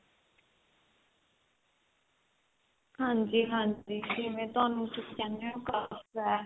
ਹਾਂਜੀ ਹਾਂਜੀ ਜਿਵੇਂ ਤੁਹਾਨੁੰ ਤੁਸੀਂ ਕਹਿੰਦੇ ਹੋ ਹੈ